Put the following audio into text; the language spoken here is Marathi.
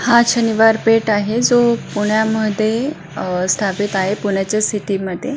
हा शनिवार पेठ आहे जो पुण्यामध्ये अ स्थापित आहे पुण्याच्या सिटी मध्ये.